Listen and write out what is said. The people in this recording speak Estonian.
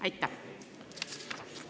Aitäh!